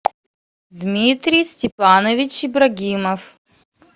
дмитрий степанович ибрагимов